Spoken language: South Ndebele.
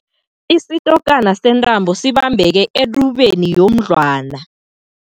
Isitokana sentambo sibambeke etubeni yomdlwana.